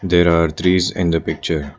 There are trees in the picture.